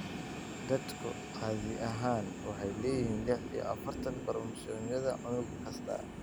Dadku caadi ahaan waxay leeyihiin lix iyo afartan koromosoomyada unug kasta.